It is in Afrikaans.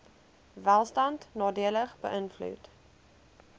welstand nadelig beïnvloed